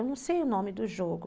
Eu não sei o nome do jogo.